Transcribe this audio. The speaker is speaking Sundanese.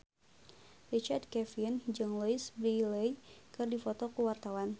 Richard Kevin jeung Louise Brealey keur dipoto ku wartawan